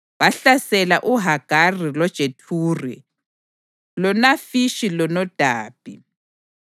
Bahlasela uHagari loJethuri loNafishi loNodabi.